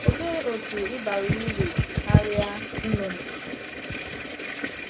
Òlee otú ị bara uru karịa nnụnụ?